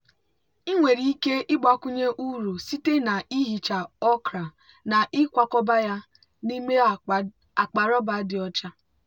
ị nwere ike ịgbakwunye uru site na ihicha okra na ịkwakọba ya n'ime akpa rọba dị ọcha.